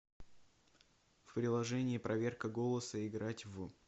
приложение проверка голоса играть в